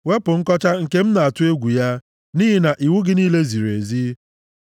Wepụ nkọcha nke m na-atụ egwu ya, nʼihi na iwu gị niile ziri ezi.